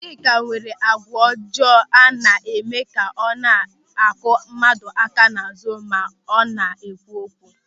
Chika nwere àgwà ọjọọ a na-eme ka ọ na-akụ mmadụ aka n'azụ ma ọ na-ekwu okwu.